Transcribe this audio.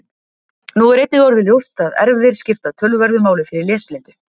Nú er einnig orðið ljóst að erfðir skipta töluverðu máli fyrir lesblindu.